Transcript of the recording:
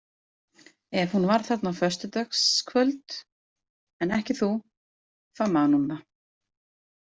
Ef hún var þarna á föstudagskvöld en ekki þú, þá man hún það.